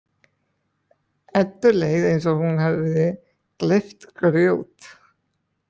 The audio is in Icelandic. Eddu leið eins og hún hefði gleypt grjót.